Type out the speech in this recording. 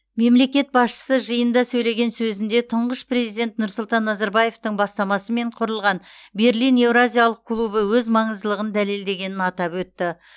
мемлекет басшысы жиында сөйлеген сөзінде тұңғыш президент нұрсұлтан назарбаевтың бастамасымен құрылған берлин еуразиялық клубы өз маңыздылығын дәлелдегенін атап өтті